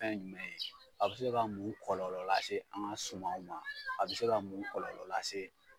Ɛn yumɛ ye , a bɛ se ka mun kɔlɔlɔ lase an ŋa sumanw ma? A bɛ se ka mun kɔlɔlɔ lase